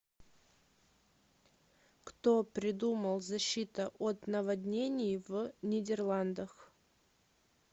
кто придумал защита от наводнений в нидерландах